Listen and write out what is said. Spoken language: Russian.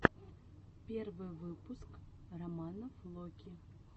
первый выпуск романа флоки